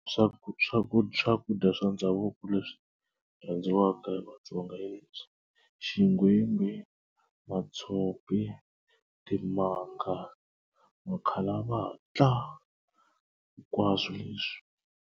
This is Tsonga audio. Swa swakudya swa ndhavuko leswi rhandziwaka hi maTsonga xigwimbhi matshopi timanga makhalavatla hinkwaswo leswi.